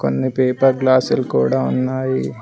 కొన్ని paper glass లు కూడా ఉన్నాయి.